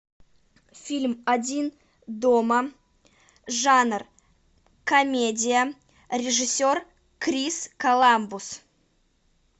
фильм один дома жанр комедия режиссер крис коламбус